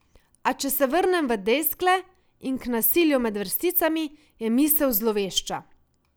A če se vrnem v Deskle in k nasilju med vrsticami, je misel zlovešča.